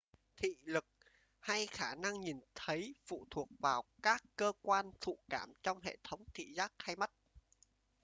thị lực hay khả năng nhìn thấy phụ thuộc vào các cơ quan thụ cảm trong hệ thống thị giác hay mắt